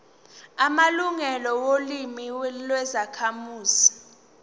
amalungelo olimi lwezakhamuzi